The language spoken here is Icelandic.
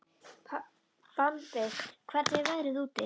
Bambi, hvernig er veðrið úti?